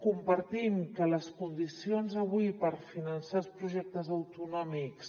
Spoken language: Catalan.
compartim que les condicions avui per finançar els projectes autonòmics